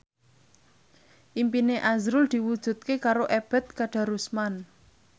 impine azrul diwujudke karo Ebet Kadarusman